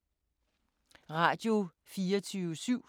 Radio24syv